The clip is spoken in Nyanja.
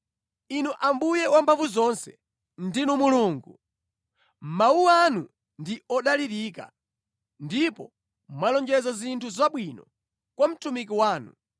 Inu Ambuye Wamphamvuzonse, ndinu Mulungu! Mawu anu ndi odalirika, ndipo mwalonjeza zinthu zabwinozi kwa mtumiki wanu.